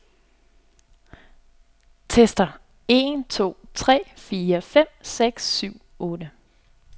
Tester en to tre fire fem seks syv otte.